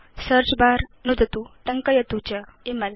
search bar नुदतु टङ्कयतु च इमेल